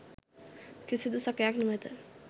කිසිදු සැකයක් නොමැත.